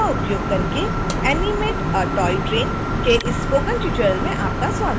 synfig का उपयोग करके animate a toy train के इस स्पोकन ट्यूटोरियल में आपका स्वागत है